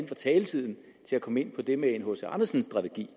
for taletiden at komme ind på det med en hc andersen strategi